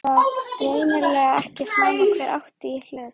Það var greinilega ekki sama hver átti í hlut.